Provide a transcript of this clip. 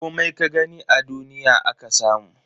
Komai ka gani a duniya aka samu.